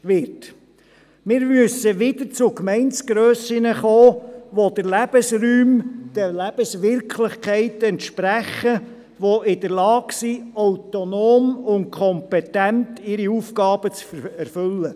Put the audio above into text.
Wir müssen wieder Gemeindegrössen haben, die den Lebensräumen und den Lebenswirklichkeiten entsprechen, die in der Lage sind, ihre Aufgaben autonom und kompetent zu erfüllen.